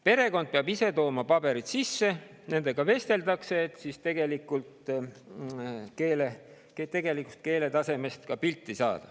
Perekond peab ise paberid sisse tooma ja nendega vesteldakse, et saada pilt nende tegelikust keeletasemest.